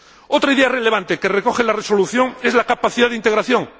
Otra idea relevante que recoge la resolución es la capacidad de integración.